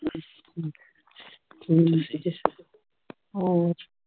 ਹਮ ਠੀਕ ਜੇ ਹੋਰ